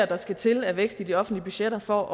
der skal til af vækst i de offentlige budgetter for